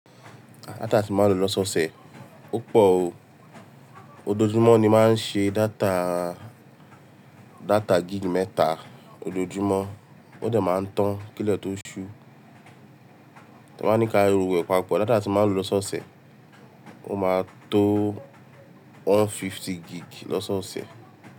Data tí mo máa ń lò lọ́sọ̀ọ̀sẹ̀, ó pọ̀ o. Ojoojúmọ́ ni máa ń ṣe data, data gig mẹ́ta ojoojúmọ́. Ó de máa ń tàn kíle tó ṣú. Ta bá ní ká ro gbogbo e papọ̀. Data tí mo máa ń lò lọ́sọọ̀sẹ̀, ó máa tó one fifty gig lọ́sọọ̀sẹ̀